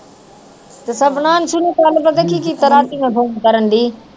ਸ਼ੁਰੂ ਕਰਨ ਪਤਾ ਕੀ ਕੀਤਾ ਰਾਤੀ ਮੈਂ ਫ਼ੋਨ ਕਰਨਡੀ